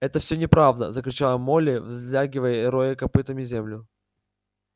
это всё неправда закричала молли взлягивая и роя копытами землю